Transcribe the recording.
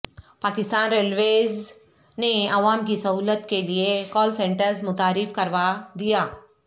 Pakistan railways نے عوام کی سہولت کے لیے کال سنٹر متعارف کروا دیا